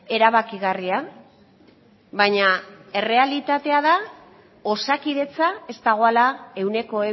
erabakigarria baina errealitatea da osakidetza ez dagoela ehuneko